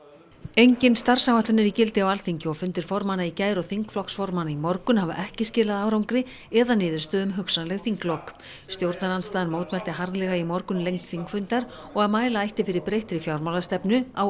engin starfsáætlun er í gildi á Alþingi og fundir formanna í gær og þingflokksformanna í morgun hafa ekki skilað árangri eða niðurstöðu um hugsanleg þinglok stjórnarandstaðan mótmælti harðlega í morgun lengd þingfundar og að mæla ætti fyrir breyttri fjármálastefnu á